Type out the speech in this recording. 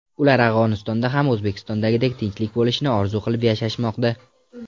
Ular Afg‘onistonda ham O‘zbekistondagidek tinchlik bo‘lishini orzu qilib yashashmoqda.